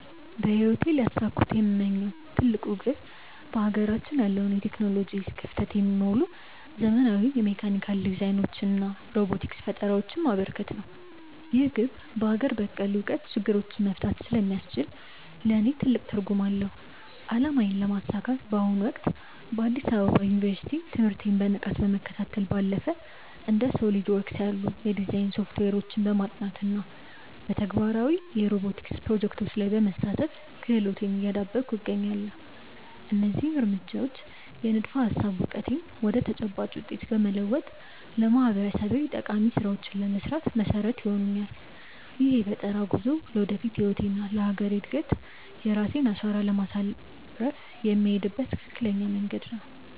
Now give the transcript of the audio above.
በህይወቴ ሊያሳኩት የምመኘው ትልቁ ግብ በሀገራችን ያለውን የቴክኖሎጂ ክፍተት የሚሞሉ ዘመናዊ የሜካኒካል ዲዛይኖችንና ሮቦቲክስ ፈጠራዎችን ማበርከት ነው። ይህ ግብ በሀገር በቀል እውቀት ችግሮችን መፍታት ስለሚያስችል ለእኔ ትልቅ ትርጉም አለው። አላማዬን ለማሳካት በአሁኑ ወቅት በአዲስ አበባ ዩኒቨርሲቲ ትምህርቴን በንቃት ከመከታተል ባለፈ፣ እንደ SOLIDWORKS ያሉ የዲዛይን ሶፍትዌሮችን በማጥናት እና በተግባራዊ የሮቦቲክስ ፕሮጀክቶች ላይ በመሳተፍ ክህሎቴን እያዳበርኩ እገኛለሁ። እነዚህ እርምጃዎች የንድፈ-ሀሳብ እውቀቴን ወደ ተጨባጭ ውጤት በመለወጥ ለማህበረሰቤ ጠቃሚ ስራዎችን ለመስራት መሰረት ይሆኑኛል። ይህ የፈጠራ ጉዞ ለወደፊት ህይወቴና ለሀገሬ እድገት የራሴን አሻራ ለማሳረፍ የምሄድበት ትክክለኛ መንገድ ነው።